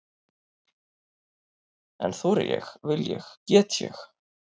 En þori ég, vil ég, get ég?